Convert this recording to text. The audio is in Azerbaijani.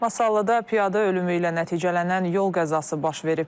Masallıda piyada ölümü ilə nəticələnən yol qəzası baş verib.